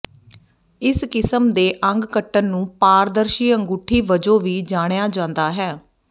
ਇਸ ਕਿਸਮ ਦੇ ਅੰਗ ਕੱਟਣ ਨੂੰ ਪਾਰਦਰਸ਼ੀ ਅੰਗੂਠੀ ਵਜੋਂ ਵੀ ਜਾਣਿਆ ਜਾਂਦਾ ਹੈ